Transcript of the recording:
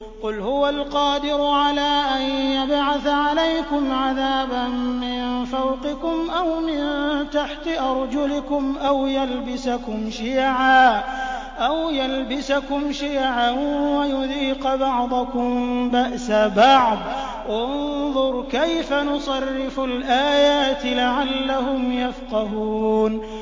قُلْ هُوَ الْقَادِرُ عَلَىٰ أَن يَبْعَثَ عَلَيْكُمْ عَذَابًا مِّن فَوْقِكُمْ أَوْ مِن تَحْتِ أَرْجُلِكُمْ أَوْ يَلْبِسَكُمْ شِيَعًا وَيُذِيقَ بَعْضَكُم بَأْسَ بَعْضٍ ۗ انظُرْ كَيْفَ نُصَرِّفُ الْآيَاتِ لَعَلَّهُمْ يَفْقَهُونَ